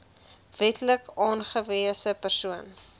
wetlik aangewese persoon